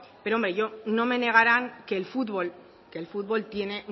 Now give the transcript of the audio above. pero hombre no me negarán que el fútbol tiene